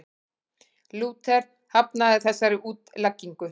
Lúther hafnaði þessari útleggingu.